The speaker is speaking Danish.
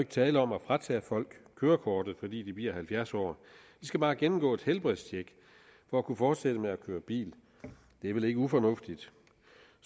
tale om at fratage folk kørekortet fordi de bliver halvfjerds år de skal bare gennemgå et helbredstjek for at kunne fortsætte med at køre bil det er vel ikke ufornuftigt